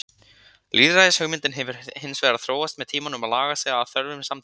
Lýðræðishugmyndin hefur hins vegar þróast með tímanum og lagað sig að þörfum samtímans.